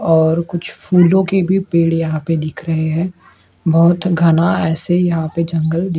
और कुछ फूलो की भी पेड़ यहां पर दिख रहे हैं बहोत घना ऐसे ही यहां पे जंगल दि--